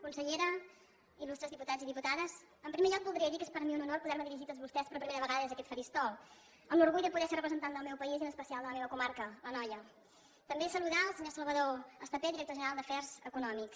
consellera il·lustres diputats i diputades en primer lloc voldria dir que és per a mi un honor poder me dirigir a tots vostès per primera vegada des d’aquest faristol amb l’orgull de poder ser representant del meu país i en especial de la meva comarca l’anoia també saludar el senyor salvador estapé director general d’afers econòmics